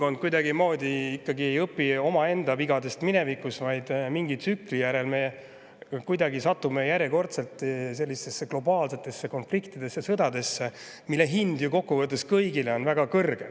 Aga kahjuks inimkond ikkagi ei õpi omaenda mineviku vigadest, vaid mingi tsükli järel satume me globaalsetesse konfliktidesse, sõdadesse, mille hind on ju kokku võttes kõigile väga kõrge.